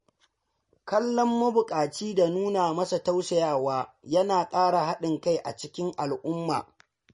Kallon mabuƙaci da nuna masa tausayawa yana ƙara haɗin kai a cikin al’umma.